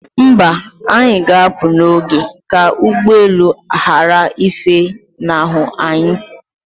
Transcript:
Mba, anyi ga apụ n'oge ka ụgbọelu ghara ifenahu anyị